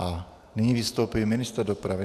A nyní vystoupí ministr dopravy.